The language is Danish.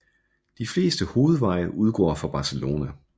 De fleste hovedveje udgår fra Barcelona